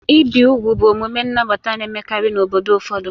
Ibi úgwù bụ omume nnabata na-emekarị n'obodo ụfọdụ.